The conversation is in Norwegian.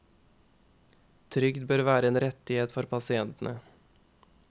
Trygd bør være en rettighet for pasientene.